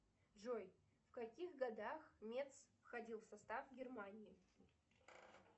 джой в каких годах метс входил в состав германии